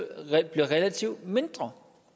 relativt mindre